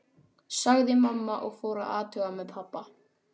sagði mamma og fór að athuga með pabba.